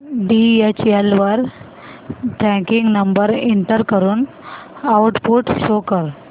DHL वर tracking number enter करून output show कर